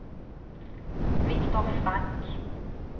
Viktor Frank